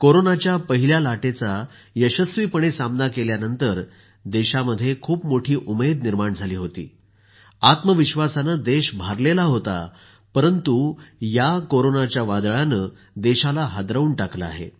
कोरोनाच्या पहिल्या लाटेचा यशस्वीपणे सामना केल्यानंतर देशामध्ये खूप मोठी उमेद निर्माण झाली होती आत्मविश्वासाने देश भारलेला होता परंतु या कोरोनाच्या वादळाने देशाला हादरवून टाकलं आहे